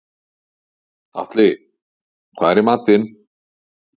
Atli, hvað er í matinn?